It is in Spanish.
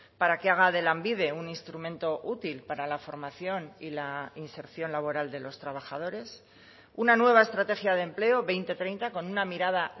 para que haga de lanbide un instrumento útil para la formación y la inserción laboral de los trabajadores una nueva estrategia de empleo dos mil treinta con una mirada